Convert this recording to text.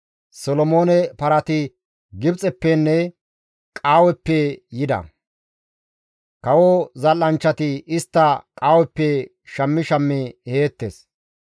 Solomoone parati Gibxeppenne Qaaweppe yida; kawo zal7anchchati istta Qaaweppe shammi shammi eheettes.